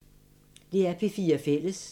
DR P4 Fælles